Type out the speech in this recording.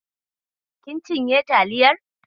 Kin cinye taliyar?